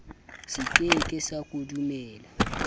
se ke ke sa kodumela